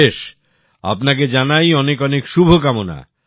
বেশ আপনাকে জানাই অনেক শুভকামনা